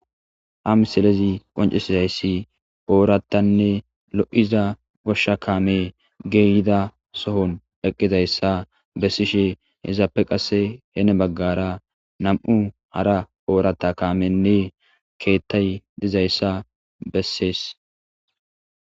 amselezi qoncesizayssi ooratanne lo7iza goshsha kaame geeyida sohon eqqizayssa bessishe hezaappe qasse heene baggara nam7u hara oorata kaamenne keettay dizayssa bessees